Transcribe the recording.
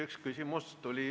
Üks küsimus tuli veel.